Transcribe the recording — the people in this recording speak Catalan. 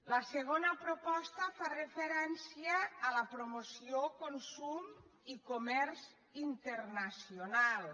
la segona proposta fa referència a la promoció con·sum i comerç internacionals